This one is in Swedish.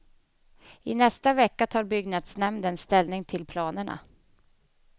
I nästa vecka tar byggnasdnämnden ställning till planerna.